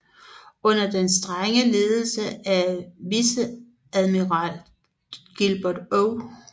Under den strenge ledelse af viceadmiral Gilbert O